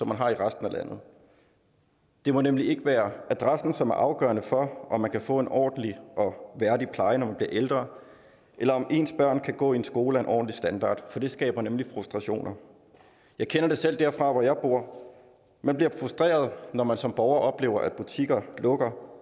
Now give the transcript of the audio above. man har i resten af landet det må nemlig ikke være adressen som er afgørende for om man kan få en ordentlig og værdig pleje når man bliver ældre eller om ens børn kan gå i en skole af en ordentlig standard for det skaber nemlig frustrationer jeg kender det selv derfra hvor jeg bor man bliver frustreret når man som borger oplever at butikker lukker at